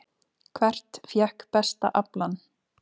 Hvert fékk besta aflann?